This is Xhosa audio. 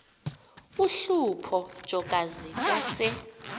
uhlupho jokazi wase